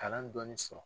Kalan dɔɔni sɔrɔ